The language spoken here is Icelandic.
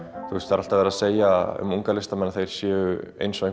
er alltaf verið að segja um einhverja unga listamenn að þeir séu eins og